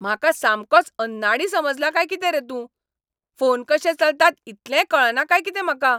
म्हाका सामकोच अन्नाडी समजला काय कितें रे तूं? फोन कशे चलतात इतलेंय कळना काय कितें म्हाका?